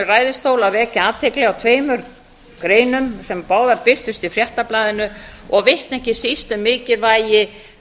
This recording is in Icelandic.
þessum ræðustól að vekja athygli á tveimur greinum sem báðar birtust í fréttablaðinu og vitna ekki síst um mikilvægi